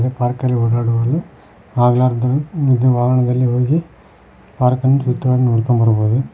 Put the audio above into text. ಈ ಪಾರ್ಕ ಅಲ್ಲಿ ಓಡಾಡಬಹುದು ಅಗ್ಲಾರದವರು ಇದೇ ವಾರದಲ್ಲಿ ಹೋಗಿ ಪಾರ್ಕ ಅನ್ನು ವೃತ್ತವನ್ನು ನೋಡ್ಕೊಂಡ್ ಬರಬಹುದು.